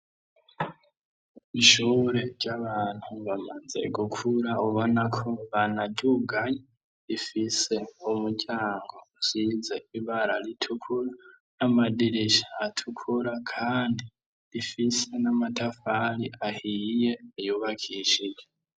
Ishure ry'abantu bamaze gukura ubona ko banadyuganyi rifise umuryango usize ibara ritukura n'amadirisha atukura, kandi rifise n'amatafari ahiye yubakishije.